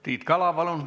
Tiit Kala, palun!